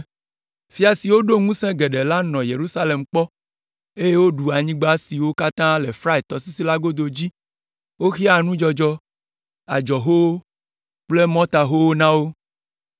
Fia siwo ɖo ŋusẽ geɖe la nɔ Yerusalem kpɔ, eye woɖu anyigba siwo katã le Frat tɔsisi la godo dzi, woxea nudzɔdzɔ, adzɔhowo kple mɔtahowo na wo.